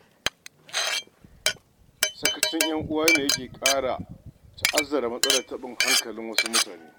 Sakacin 'yan uwa ne yake ƙara ta'azara matsalar taɓin hankalin wasu mutanen.